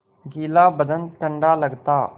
गीला बदन ठंडा लगता